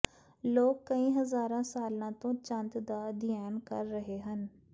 ਲੋਕ ਕਈ ਹਜ਼ਾਰਾਂ ਸਾਲਾਂ ਤੋਂ ਚੰਦ ਦਾ ਅਧਿਐਨ ਕਰ ਰਹੇ ਹਨ